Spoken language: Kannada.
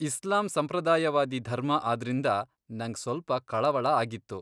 ಇಸ್ಲಾಂ ಸಂಪ್ರದಾಯವಾದಿ ಧರ್ಮ ಆದ್ರಿಂದ ನಂಗ್ ಸ್ವಲ್ಪ ಕಳವಳ ಆಗಿತ್ತು.